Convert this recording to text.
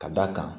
Ka d'a kan